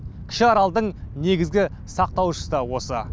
кіші аралдың негізгі сақтаушысы да осы